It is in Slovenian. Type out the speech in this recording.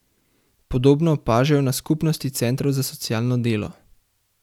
Podobno opažajo na skupnosti centrov za socialno delo.